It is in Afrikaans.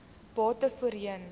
bate voorheen